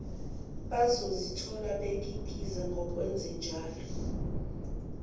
bazozithola bekikiza ngokwenzenjalo